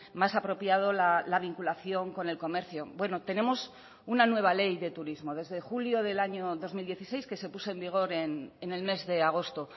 más apropiado la vinculación con el comercio bueno tenemos una nueva ley de turismo desde julio del año dos mil dieciséis que se puso en vigor en el mes de agosto